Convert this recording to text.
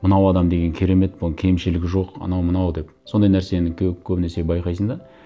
мынау адам деген керемет бұның кемшілігі жоқ анау мынау деп сондай нәрсені көбінесе байқайсың да